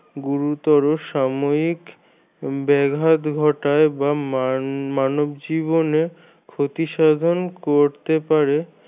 গুরুত্বর সাময়িক ব্যঘাত ঘটায় বা মান মানব জীবনে ক্ষতি সাধন করতে পারে